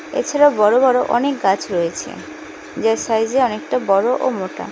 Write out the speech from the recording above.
এছাড়াও বড় বড় অনেক গাছ রয়েছে যে সাইজে অনেকটা বড় ও মোটা।